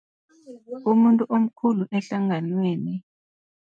Umuntu omkhulu ehlanganweni.